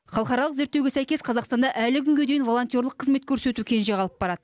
халықаралық зерттеуге сәйкес қазақстанда әлі күнге дейін волонтерлік қызмет көрсету кенже қалып барады